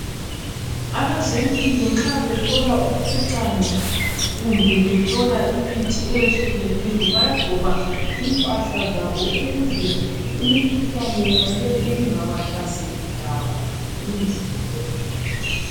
Abezempilo nxa behlola umkhuhlane kumbe behlola imithi eyehlukeneyo bayagqoka impahla zabo ukuze imkhuhlane yona leyi ingabahlaseli labo emizimbeni.